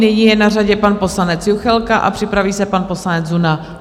Nyní je na řadě pan poslanec Juchelka a připraví se pan poslanec Zuna.